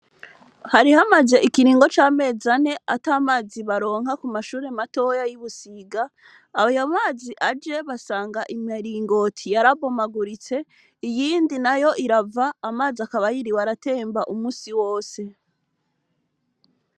Hari hamaze ikiringo v'amazi ane atamazi baronka ku mashuri matoya yi Busiga ayo mazi aje basanga imiringoti yarabomaguritse iyindi nayo irava amazi akaba yiriwe aratemba umunsi wose .